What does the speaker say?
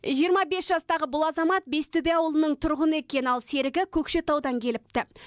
жиырма бес жастағы бұл азамат бестөбе ауылының тұрғыны екен ал серігі көкшетаудан келіпті